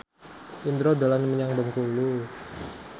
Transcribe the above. Indro dolan menyang Bengkulu